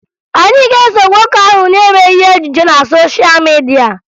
Anyị ga-eso nwoke ahụ na-eme ihe ejije na sosha midia